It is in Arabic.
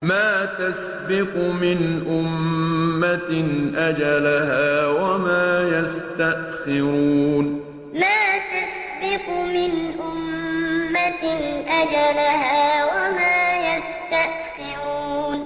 مَا تَسْبِقُ مِنْ أُمَّةٍ أَجَلَهَا وَمَا يَسْتَأْخِرُونَ مَا تَسْبِقُ مِنْ أُمَّةٍ أَجَلَهَا وَمَا يَسْتَأْخِرُونَ